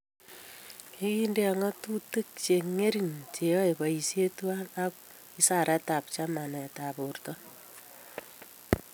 kikindene ng'atutik che ang'eren che yoe boisiet tuwai ak wizaraitab chamanetab borto